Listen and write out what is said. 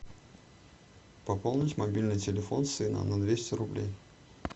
пополнить мобильный телефон сына на двести рублей